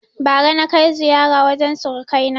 Bara na kai ziƴara wajen suruƙa kai na